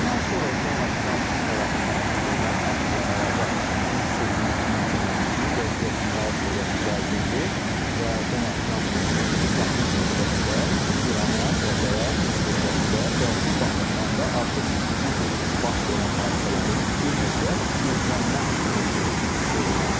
Bundan sonra Donald Trump tərəfindən verilən açıqlamalarda onu sezmək mümkün idi ki, vəziyyət kifayət qədər gərginidir və Donald Trump bildirirdi ki, yaxın müddətdə İrana zərbələr endirilə bilər və bu baxımdan da artıq bu gün baş verən hadisələrin bir növ də gözlənilən olduğu vurğulanmalıdır.